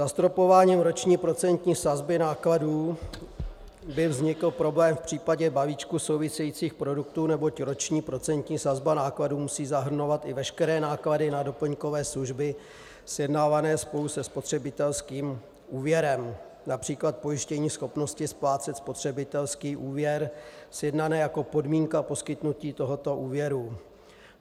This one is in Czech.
Zastropováním roční procentní sazby nákladů by vznikl problém v případě balíčků souvisejících produktů, neboť roční procentní sazba nákladů musí zahrnovat i veškeré náklady na doplňkové služby sjednávané spolu se spotřebitelským úvěrem, například pojištění schopnosti splácet spotřebitelský úvěr sjednané jako podmínka poskytnutí tohoto úvěru.